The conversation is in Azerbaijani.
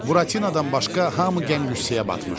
Buratinodan başqa hamı qəm-qüssəyə batmışdı.